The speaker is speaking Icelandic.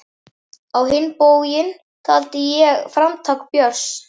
Á hinn bóginn taldi ég framtak Björns